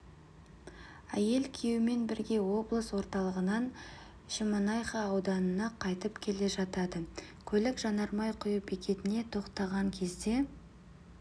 әйел күйеуімен бірге облыс орталығынан шемонайха ауданына қайтып келе жатады көлік жанармай құю бекетіне тоқтаған кезде